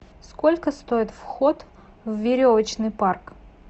сколько стоит вход в веревочный парк